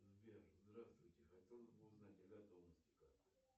сбер здравствуйте хотелось бы узнать о готовности карты